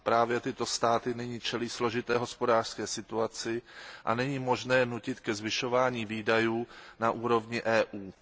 Právě tyto státy nyní čelí složité hospodářské situaci a není možné je nutit ke zvyšování výdajů na úrovni EU.